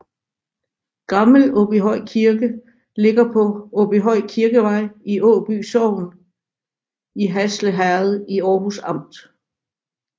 Gammel Åby Kirke ligger på Åby Kirkevej i Åby sogn i Hasle Herred i Århus Amt